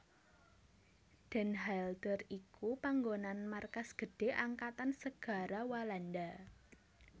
Den Helder iku panggonan markas gedhé Angkatan Segara Walanda